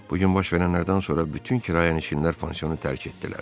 Bu gün baş verənlərdən sonra bütün kirayənişinlər pansionu tərk etdilər.